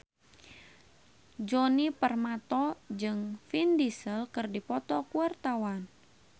Djoni Permato jeung Vin Diesel keur dipoto ku wartawan